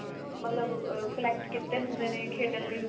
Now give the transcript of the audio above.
ਮਤਲਬ ah collect ਕੀਤੇ ਹੁੰਦੇ ਨੇ ਖੇਡਣ ਲਈ